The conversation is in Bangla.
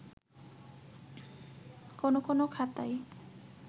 কোন কোন খাতায়